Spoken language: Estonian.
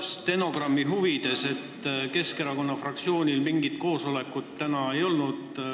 Stenogrammi huvides ütlen, et Keskerakonna fraktsioonil täna mingit koosolekut ei olnud.